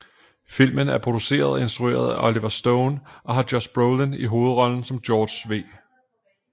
Filmen er produceret og instrueret af Oliver Stone og har Josh Brolin i hovedrollen som George W